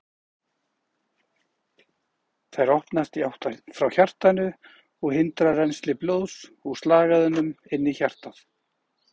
Þær opnast í átt frá hjartanu og hindra rennsli blóðs úr slagæðunum inn í hjartað.